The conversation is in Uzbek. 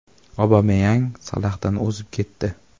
Obameyang Salohdan o‘zib ketdi.